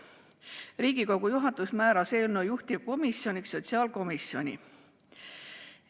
Riigikogu juhatus määras eelnõu juhtivkomisjoniks sotsiaalkomisjoni.